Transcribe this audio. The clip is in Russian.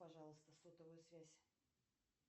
пожалуйста сотовую связь